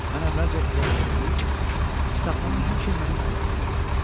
Mən əvvəlcə elə eləməli idim ki, kitabxana həmişə mənim əlimdə qalsın.